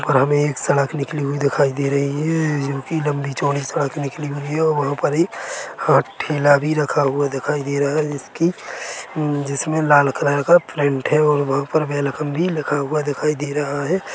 और हमे एक सड़क निकली हुई दिखाई दे रही है ये जोकि लंबी चौड़ी सड़क निकली हुई है और वंहा पर एक हाथ ठेला भी रखा हुआ दिखाई दे रहा है जिसकी जिसमे लाल कलर का प्रिन्ट है और वह पर वेलकम भी लिखा हुआ दिखाई दे रहा है।